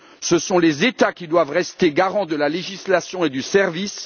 Ce sont les États qui doivent rester garants de la législation et du service